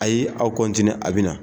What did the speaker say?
Ayi aw a bɛ na